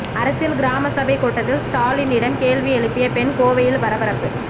அரசியல் கிராம சபை கூட்டத்தில் ஸ்டாலினிடம் கேள்வி எழுப்பிய பெண் கோவையில் பரபரப்பு